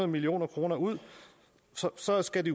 million kroner ud så skal de